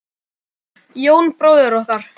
Jón bróðir okkar.